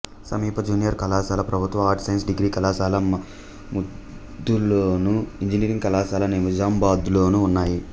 సమీప జూనియర్ కళాశాల ప్రభుత్వ ఆర్ట్స్ సైన్స్ డిగ్రీ కళాశాల ముధోల్లోను ఇంజనీరింగ్ కళాశాల నిజామాబాద్లోనూ ఉన్నాయి